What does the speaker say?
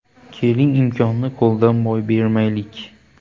Keling, imkonni qo‘ldan boy bermaylik.